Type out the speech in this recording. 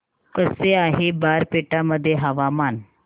कसे आहे बारपेटा मध्ये हवामान